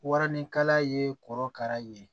Waranikala ye korokara ye